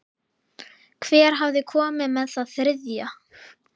Hver hafði komið með það þriðja?